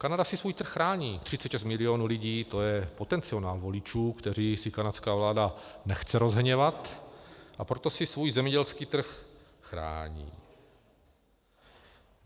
Kanada si svůj trh chrání, 36 milionů lidí, to je potenciál voličů, které si kanadská vláda nechce rozhněvat, a proto si svůj zemědělský trh chrání.